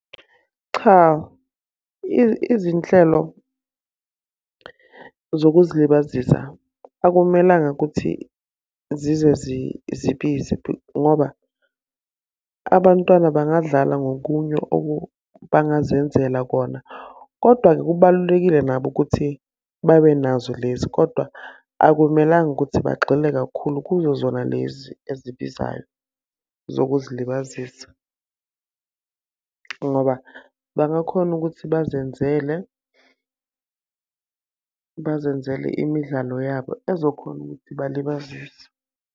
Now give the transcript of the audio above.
Cha, izinhlelo zokuzilibazisa akumelanga ukuthi zize zibize ngoba, abantwana bangadlala ngokunye bangazenzela kona. Kodwa-ke kubalulekile nabo ukuthi babe nazo lezi, kodwa akumelanga ukuthi bagxile kakhulu kuzo zona lezi ezibizayo zokuzilibazisa. Ngoba bangakhona ukuthi bazenzele, bazenzele imidlalo yabo ezokhona ukuthi balibazise.